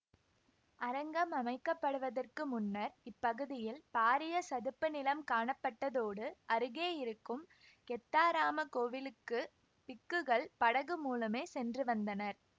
அரங்கம் அமைக்கப்படுவதற்கு முன்னர் இப்பகுதியில் பாரிய சதுப்புநிலம் காணப்பட்டதோடு அருகே இருக்கும் கெத்தாராம கோவிலுக்கு பிக்குகள் படகு மூலமே சென்று வந்தனர்